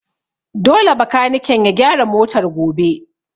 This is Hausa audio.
Dole bakaniken ya gyara motar gobe!